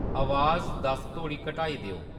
अवाज दस्स तोड़ी घटाई देओ